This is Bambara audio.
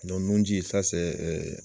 nun ji